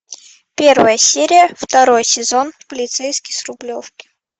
первая серия второй сезон полицейский с рублевки